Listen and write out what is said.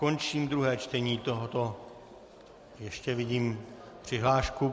Končím druhé čtení tohoto - ještě vidím přihlášku.